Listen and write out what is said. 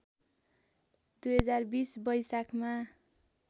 २०२० वैशाखमा